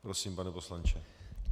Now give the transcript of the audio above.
Prosím, pane poslanče.